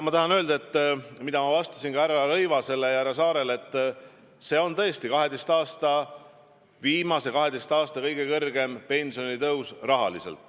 Nagu ma vastasin ka härra Rõivasele ja härra Saarele, see on tõesti viimase 12 aasta kõige kõrgem pensionitõus.